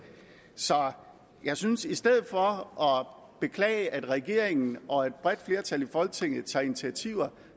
så jeg synes i stedet for at beklage at regeringen og et bredt flertal i folketinget tager initiativer